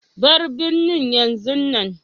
Bar birnin yanzun nan.